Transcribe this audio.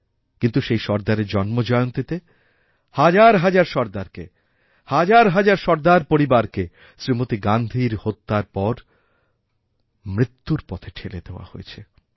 কিন্তু সেই সর্দারের জন্মজয়ন্তীতে হাজার হাজার সর্দারকে হাজারহাজার সর্দার পরিবারকে শ্রীমতী গান্ধীর হত্যার পর মৃত্যুর পথে ঠেলে দেওয়া হয়েছে